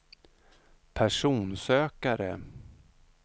personsökare